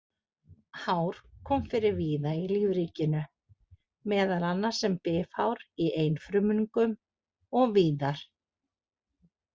Hár koma fyrir víða í lífríkinu, meðal annars sem bifhár í einfrumungum og víðar.